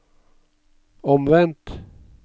omvendt